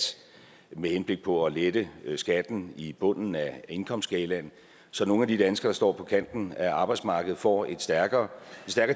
med henblik på at lette skatten i bunden af indkomstskalaen så nogle af de danskere der står på kanten af arbejdsmarkedet får en stærkere